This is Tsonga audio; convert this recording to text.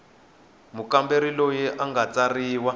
mukamberi loyi a nga tsarisiwa